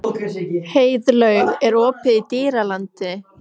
Heiðlaug, er opið í Dýralandi?